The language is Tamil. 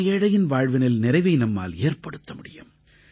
பரம ஏழையின் வாழ்வினில் நிறைவை நம்மால் ஏற்படுத்த முடியும்